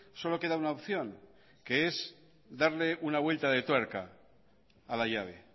solo queda una opción que es darle una vuelta de tuerca a la llave